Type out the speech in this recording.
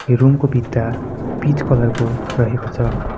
Room को भित्ता peach colour को रहेको छ।